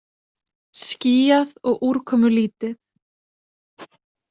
Skýjað og úrkomulítið